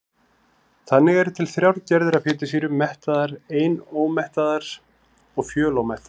Þannig eru til þrjár gerðir af fitusýrum: mettaðar, einómettaðar og fjölómettaðar.